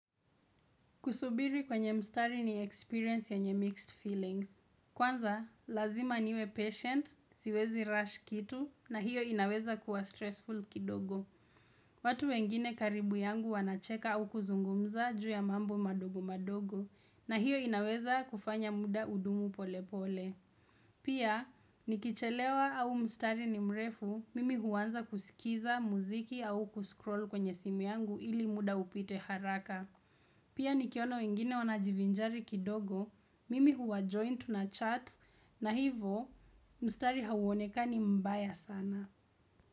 Kusubiri kwenye mstari ni experience yenye mixed feelings. Kwanza, lazima niwe patient, siwezi rush kitu, na hiyo inaweza kuwa stressful kidogo. Watu wengine karibu yangu wanacheka au kuzungumza juu ya mambo madogo madogo, na hiyo inaweza kufanya muda udumu pole pole. Pia, nikichelewa au mstari ni mrefu, mimi huwanza kusikiza muziki au kuscroll kwenye simu yangu ili muda upite haraka. Pia nikiona wengine wanajivinjari kidogo, mimi huwajoin tu na chat na hivo mstari huonekani mbaya sana.